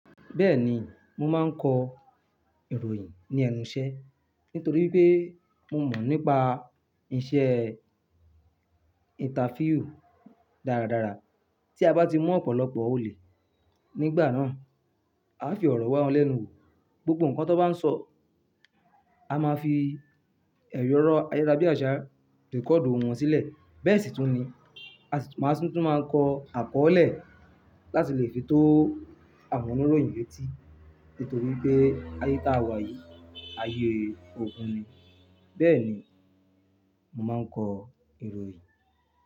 Bẹ́ẹ̀ni, mo máa ń kọ ìròyìn ní ẹnu iṣẹ́ nítorí pé mo mọ̀ nípa iṣẹ́ interview dáradára. Tí a bá ti mọ ọ̀pọ̀lọpọ̀ olè nígbà náà, a fi ọ̀rọ̀ wa wọ́n lẹ́nu wò, gbogbo ǹkan tó bá ń sọ, a máa fi ẹyọ rọ́ ayẹra bí àṣá rẹ̀cordu wọ́n sílẹ̀. Bẹ́ẹ̀ sì tún ni, a sì tún máa ń kọ àkọọ́lẹ̀ láti lè fi tó àwọn oníròyìn yétí nítorí pé ayé tá a wà yìí, ayé ogun ni. Bẹ́ẹ̀ ni mo máa ń kọ ìròyìn.